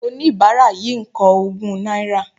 Oníbárà yìí ń kọ ogún náírà